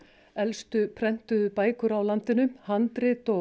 elstu prentuðu bækur á landinu handrit og